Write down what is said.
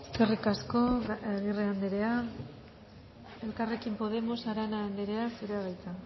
eskerrik asko agirre anderea elkarrekin podemos arana anderea zurea da hitza